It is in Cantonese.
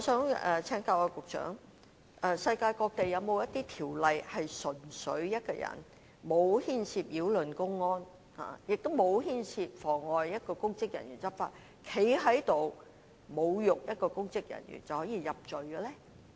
不過，我想請問局長，世界上有否任何法例，對一位沒有牽涉任何擾亂公安或妨礙公職人員執法行為的人，只因侮辱一名公職人員而被入罪？